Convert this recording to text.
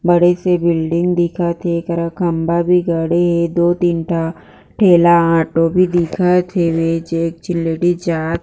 बड़ी सी बिल्डिंग दिखत थे एकरा खम्भा भी गड़े हे दो तीन ठा ठेला ऑटो भी दिखत थे जेन्स लेडिस जात--